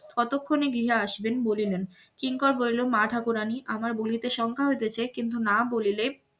কতক্ষণে গৃহে আসবেন বলিলেন কিংকর বলিল মা ঠাকুরানী আমার বলিতে সংখ্যা হইতেছে কিন্তু না বলিলে